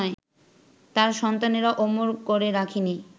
তাঁর সন্তানেরা অমর করে রাখেনি